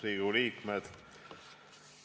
Riigikogu liikmed!